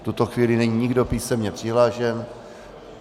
V tuto chvíli není nikdo písemně přihlášen.